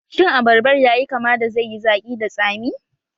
Shin Abarbar yayi kama da zaiyi zaƙi da tsami?